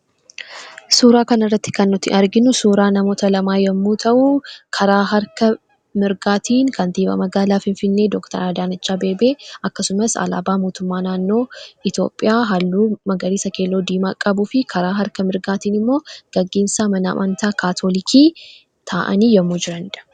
Suuraa kanarratti kan nuti arginu suuraa namoota lamaa yommuu ta'u, karaa harka mirgaatiin kantiibaa magaalaa Finfinnee Dookter Adaanech Abbebee akkasumas alaabaa mootummaa naanoo Itoophiyaa halluu magariisa, keelloo, diimaa qabuu fi karaa harka mirgaatiin immoo gaggeessaa mana amantaa Kaatolikii taa'anii yommuu jiranidha.